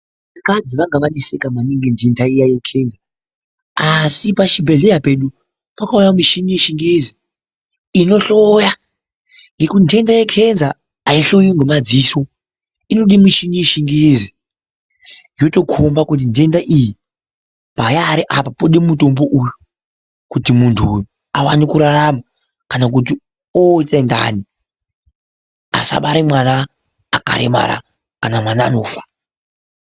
Vakadzi vanga vaneseka maningi ngenhenda iya yegomarara asi pachibhehleya pedu pakauya michini yechingezi inohloya nekuti nhenda yegomarara ainhloyiwi ngemadziso inode michini yechingezi yotokomba kuti nhenda iyi payari apa yode mutombo uyu kuti muntu uyu awone kurarama kana kuti oita ndani asabara mwana akaremara kana mwana anofa.